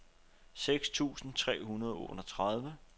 seks tusind tre hundrede og otteogtredive